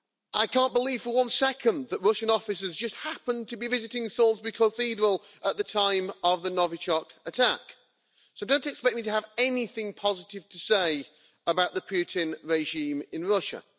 I can't believe for one second that Russian officers just happened to be visiting Salisbury Cathedral at the time of the Novichok attack, so don't expect me to have anything positive to say about the Putin regime in Russia.